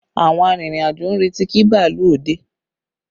Àwọn arìnrìn-àjò ń retí kí bàálù ó dé